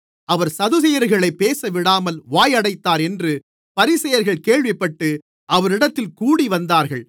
அவர் சதுசேயர்களைப் பேசவிடாமல் வாயடைத்தார் என்று பரிசேயர்கள் கேள்விப்பட்டு அவரிடத்தில் கூடிவந்தார்கள்